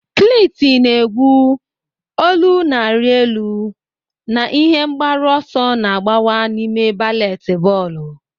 Cliti na-egwu, olu na-arị elu, na ihe mgbaru ọsọ na-agbawa n'ime baleti bọọlụ.